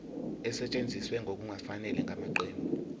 esetshenziswe ngokungafanele ngamaqembu